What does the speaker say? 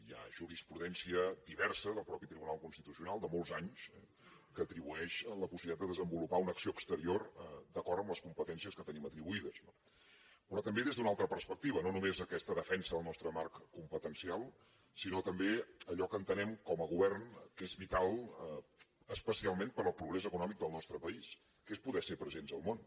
hi ha jurisprudència diversa del mateix tribunal constitucional de molts anys que atribueix la possibilitat de desenvolupar una acció exterior d’acord amb les competències que tenim atribuïdes no però també des d’una altra perspectiva no només aquesta defensa del nostre marc competencial sinó també allò que entenem com a govern que és vital especialment per al progrés econòmic del nostre país que és poder ser presents al món